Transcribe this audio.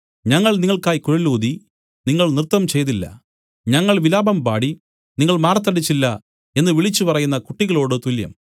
ഞങ്ങൾ നിങ്ങൾക്കായി കുഴലൂതി നിങ്ങൾ നൃത്തംചെയ്തില്ല ഞങ്ങൾ വിലാപം പാടി നിങ്ങൾ മാറത്തടിച്ചില്ല എന്നു വിളിച്ചുപറയുന്ന കുട്ടികളോട് തുല്യം